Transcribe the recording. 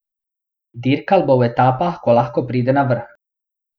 Dirkal bo v etapah, ko lahko pride na vrh.